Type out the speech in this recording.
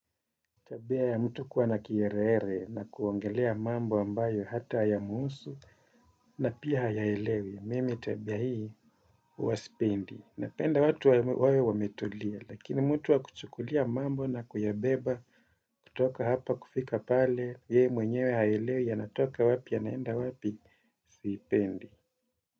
Tabia ya mtu kuwa na kiherehere na kuongelea mambo ambayo hata yamuhusu na pia hayaelewi, mimi tabia hii huwa sipendi. Napenda watu wawe wametulia, lakini mtu wa kuchukulia mambo na kuyabeba kutoka hapa kufika pale, yeye mwenyewe hayaelewi yanatoka wapi yanaenda wapi sipendi.